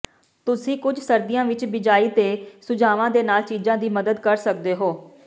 ਤੁਸੀਂ ਕੁਝ ਸਰਦੀਆਂ ਵਿੱਚ ਬਿਜਾਈ ਦੇ ਸੁਝਾਵਾਂ ਦੇ ਨਾਲ ਚੀਜਾਂ ਦੀ ਮਦਦ ਕਰ ਸਕਦੇ ਹੋ